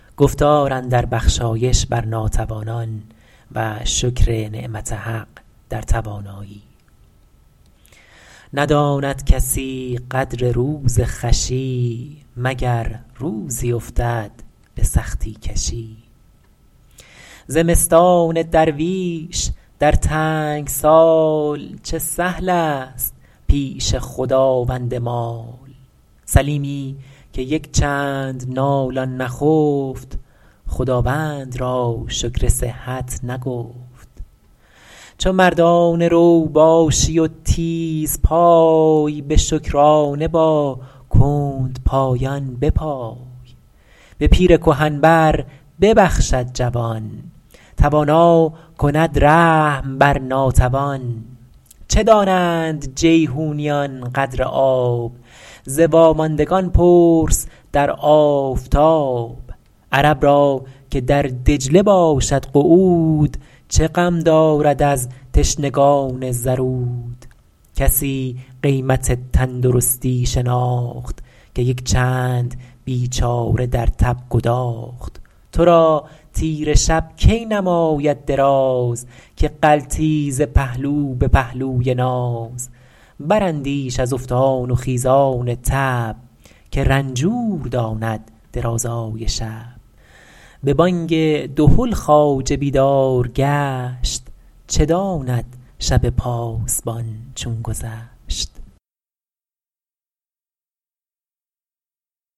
نداند کسی قدر روز خوشی مگر روزی افتد به سختی کشی زمستان درویش در تنگ سال چه سهل است پیش خداوند مال سلیمی که یک چند نالان نخفت خداوند را شکر صحت نگفت چو مردانه رو باشی و تیز پای به شکرانه با کندپایان بپای به پیر کهن بر ببخشد جوان توانا کند رحم بر ناتوان چه دانند جیحونیان قدر آب ز واماندگان پرس در آفتاب عرب را که در دجله باشد قعود چه غم دارد از تشنگان زرود کسی قیمت تندرستی شناخت که یک چند بیچاره در تب گداخت تو را تیره شب کی نماید دراز که غلطی ز پهلو به پهلوی ناز براندیش از افتان و خیزان تب که رنجور داند درازای شب به بانگ دهل خواجه بیدار گشت چه داند شب پاسبان چون گذشت